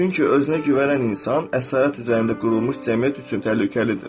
Çünki özünə güvənən insan əsarət üzərində qurulmuş cəmiyyət üçün təhlükəlidir.